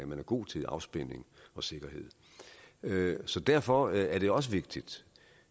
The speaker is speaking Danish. man er god til afspænding og sikkerhed så derfor er det også vigtigt